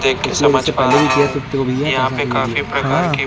देख के समझ पा रहे देख सकते हो भैया यहां पे काफी प्रकार के हा --